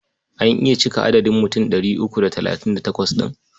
An iya cika adadin mutum ɗari uku da talatin da takwas ɗin?